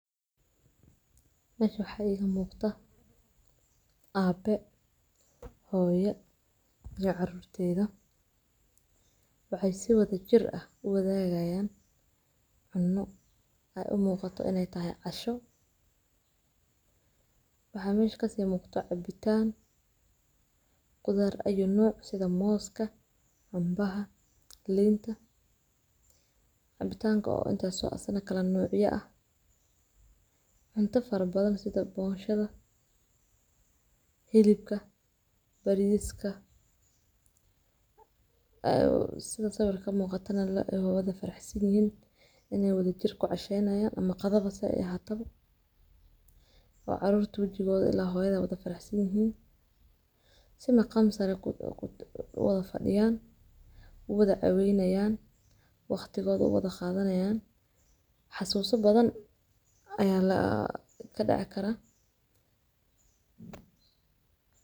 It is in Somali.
Naga xayiga muuqda. Aab hooyo iyo caruurteeda. Waxay si wada jir ah u wadaagayaan cunno ay u muuqato inay tahay casho. Wuxuu miishka siya mukhtaar cabitaan gudaar ah iyo nooc sida mooska, cunbaha linta, cabitaanka oo inta soo asana kala noocyahooda, cunto far badan sida booshada hilibka, bariiska. Ayuu sida sababta muuqata la wada faraxsan yahay inay wada jirko casha inaya ama qadaba ah ay ahaatab. Caruurta wajigooda ilaa hoyda wada faraxsan yahay si maqam sare ku wada fadhiyaan u wada caweynaayaan waqtigooda u wada qaadanayaan. Xasuuso badan ayaa la ka dhaca kara.